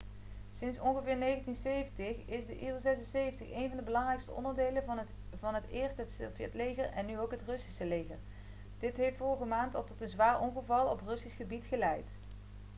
sinds ongeveer 1970 is de il-76 één van de belangrijkste onderdelen van eerst het sovjetleger en nu ook het russische leger dit heeft vorige maand al tot een zwaar ongeval op russisch gebied geleid